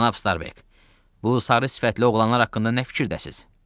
Cənab Starbek, bu sarı sifətli oğlanlar haqqında nə fikirdəsiz?